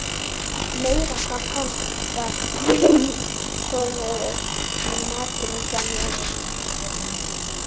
Meira hvað hann var impóneraður af matnum hjá mér.